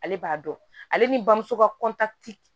Ale b'a dɔn ale ni bamuso ka